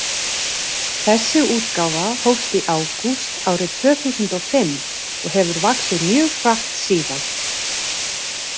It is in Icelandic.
Þessi útgáfa hófst í ágúst árið tvö þúsund og fimm og hefur vaxið mjög hratt síðan.